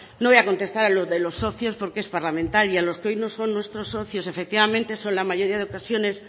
no voy a contestar a lo de los socios porque es parlamentaria los que hoy no son nuestros socios efectivamente son la mayoría de ocasiones